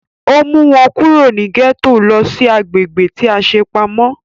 Ó mú wọn kúrò ní gẹ́tò lọ sí agbègbè tí a ṣe pamọ́